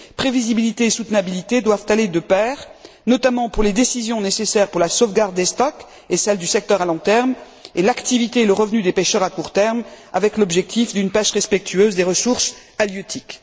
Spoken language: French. Prévisibilité et soutenabilité doivent aller de pair, notamment pour les décisions nécessaires à la sauvegarde des stocks et à celle du secteur à long terme, et l'activité et le revenu des pêcheurs à court terme, avec l'objectif d'une pêche respectueuses des ressources halieutiques.